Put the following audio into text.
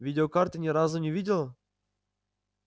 видеокарты ни разу не видела